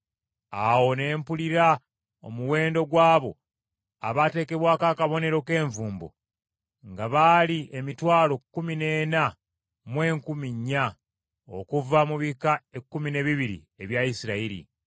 Awo ne mpulira omuwendo gw’abo abaateekebwako akabonero k’envumbo nga baali emitwalo kkumi n’ena mu enkumi nnya (144,000) okuva mu bika ekkumi n’ebibiri ebya Isirayiri.